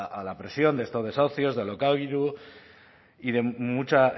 a la presión de estos desahucios de alokairu y de mucha